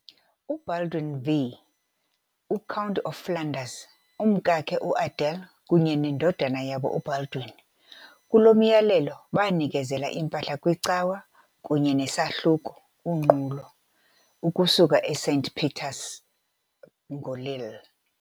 UBaldwin V, u-Count of Flanders, umkakhe uAdela kunye nendodana yabo uBaldwin, kulo myalelo banikezela impahla kwicawa kunye neSahluko, unqulo, ukusuka eSaint-Pieters nguLille.